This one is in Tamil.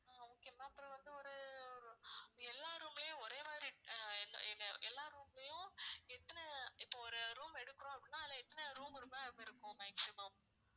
ஆஹ் okay ma'am அப்புறம் வந்து ஒரு ஒரு எல்லா room லயும் ஒரே மாதிரி ஆஹ் எல்லா room லயும் எத்தனை இப்போ ஒரு room எடுக்கிறோம் அப்படின்னா அதுல எத்தன room இருக்கும் maximum